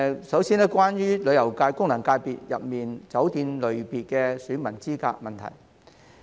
首先，是有關旅遊界功能界別中酒店類別選民資格的問題。